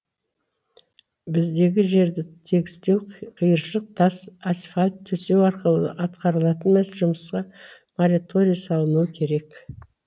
біздегі жерді тегістеу қиыршық тас асфальт төсеу арқылы атқарылатын жұмысқа мораторий салынуы керек